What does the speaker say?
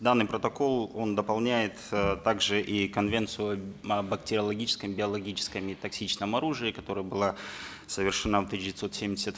данный протокол он дополняет э также и конвенцию о бактериологическом биологическом и токсичном оружии которая была совершена в тысяча девятьсот семьдесят